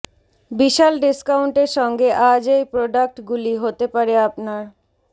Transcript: বিশাল ডিস্কাউন্টের সঙ্গে আজ এই প্রোডাক্ট গুলি হতে পারে আপনার